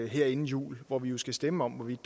her inden jul hvor vi jo skal stemme om hvorvidt